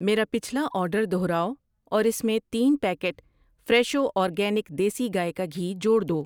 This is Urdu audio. میرا پچھلا آرڈر دوہراؤ اور اس میں تین پیکٹ فریشو اورگینک دیسی گائے کا گھی جوڑ دو۔